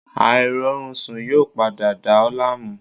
Airorunsun yoo pada dà ọ́ laamu